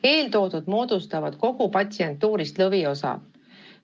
Eelnimetatud moodustavad kogu patsientuurist lõviosa.